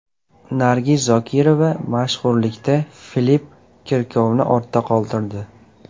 Nargiz Zokirova mashhurlikda Filipp Kirkorovni ortda qoldirdi.